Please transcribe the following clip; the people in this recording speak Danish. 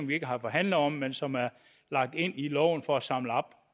vi ikke har forhandlet om men som er lagt ind i loven for at samle op